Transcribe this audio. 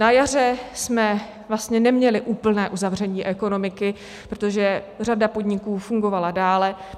Na jaře jsme vlastně neměli úplné uzavření ekonomiky, protože řada podniků fungovala dál.